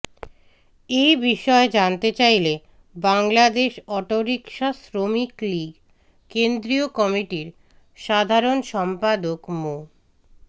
এই বিষয়ে জানতে চাইলে বাংলাদেশ অটোরিকশা শ্রমিক লীগ কেন্দ্রীয় কমিটির সাধারণ সম্পাদক মো